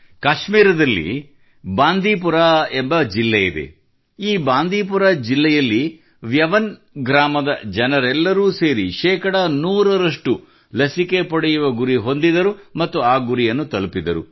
ಕಾಶ್ಮೀರದಲ್ಲಿ ಬಾಂದೀಪುರ ಎಂಬ ಜಿಲ್ಲೆಯಿದೆ ಈ ಬಾಂದೀಪುರ ಜಿಲ್ಲೆಯಲ್ಲಿ ವ್ಯವನ್ ವೆಯಾನ್ ಗ್ರಾಮದ ಜನರೆಲ್ಲರೂ ಸೇರಿ ಶೇಕಡಾ 100 ರಷ್ಟು ಲಸಿಕೆ ಪಡೆಯುವ ಗುರಿ ಹೊಂದಿದರು ಮತ್ತು ಆ ಗುರಿಯನ್ನು ತಲುಪಿದರು